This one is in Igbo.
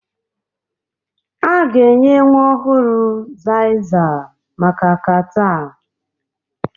A ga-enye nwa ọhụrụ Xyzal maka catarh